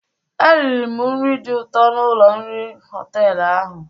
Eriri m nri dị ụtọ n'ụlọ nri họtelụ ahụ.